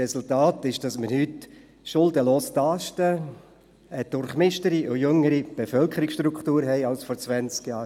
Das Resultat ist, dass wir heute schuldenfrei dastehen, eine durchmischtere und jüngere Bevölkerungsstruktur haben als vor zwanzig Jahren.